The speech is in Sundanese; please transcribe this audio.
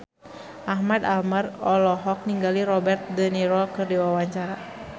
Ahmad Albar olohok ningali Robert de Niro keur diwawancara